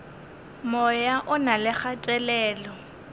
moya o na le kgatelelo